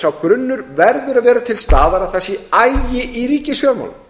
sá grunnur verður að vera til staðar að það sé agi í ríkisfjármálum